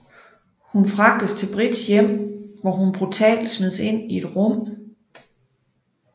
Hun fragtes til Brights hjem hvor hun brutalt smides ind i et rum